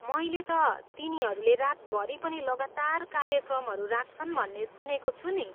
मैले त तिनीहरूले रातभरि पनि लगातार कार्यक्रमहरू राख्छन् भन्ने सुनेको छु नि?